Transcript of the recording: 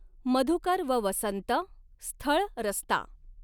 मधुकर व वसंत, स्थळ रस्ता